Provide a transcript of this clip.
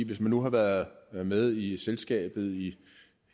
hvis man nu har været med i selskabet i